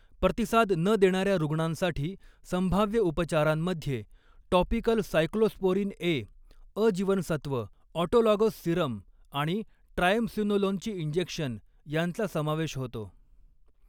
प्रतिसाद न देणाऱ्या रुग्णांसाठी, संभाव्य उपचारांमध्ये टॉपिकल सायक्लोस्पोरिन ए, अ जीवनसत्व, ऑटोलॉगस सीरम आणि ट्रायमसिनोलोनचे इंजेक्शन यांचा समावेश होतो.